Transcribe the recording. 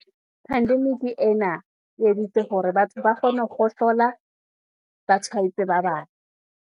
Pandemic ena, e editse hore batho ba kgone ho kgohlola , ba tshwaetse ba bang.